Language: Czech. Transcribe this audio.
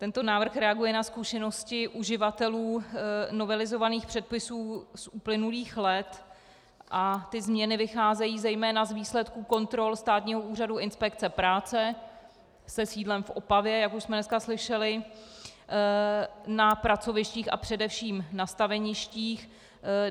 Tento návrh reaguje na zkušenosti uživatelů novelizovaných předpisů z uplynulých let a ty změny vycházejí zejména z výsledků kontrol Státního úřadu inspekce práce se sídlem v Opavě, jak už jsme dneska slyšeli, na pracovištích a především na staveništích.